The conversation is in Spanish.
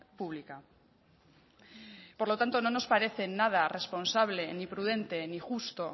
pública por lo tanto no nos parece nada responsable ni prudente ni justo